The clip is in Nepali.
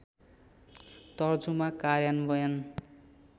तर्जुमा कार्यान्वयन